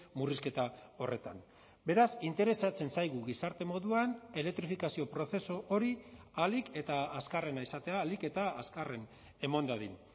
murrizketa horretan beraz interesatzen zaigu gizarte moduan elektrifikazio prozesu hori ahalik eta azkarrena izatea ahalik eta azkarren eman dadin